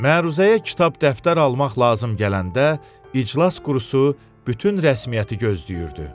Məruzəyə kitab dəftər almaq lazım gələndə İclas Qurusu bütün rəsmiyyəti gözləyirdi.